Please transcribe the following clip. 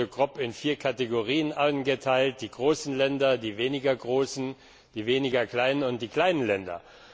Es wurde grob in vier Kategorien eingeteilt die großen Länder, die weniger großen, die weniger kleinen und die kleinen Länder.